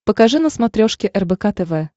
покажи на смотрешке рбк тв